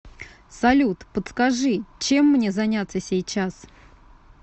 салют подскажи чем мне заняться сейчас